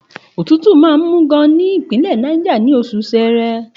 Òtútù máa ń mú gan-an ní Ìpínlẹ̀ Náìjà, ní oṣù Ṣẹẹrẹ.